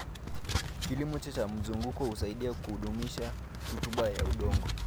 Kilimo cha mzunguko husaidia kudumisha rutuba ya udongo.